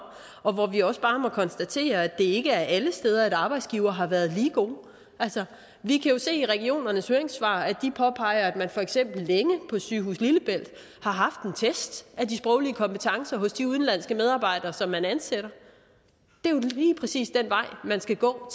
og hvor vi også bare må konstatere at det ikke er alle steder at arbejdsgivere har været lige gode vi kan jo se af danske regioners høringssvar at de påpeger at man for eksempel længe på sygehus lillebælt har haft en test af de sproglige kompetencer hos de udenlandske medarbejdere som man ansætter det er jo lige præcis den vej man skal gå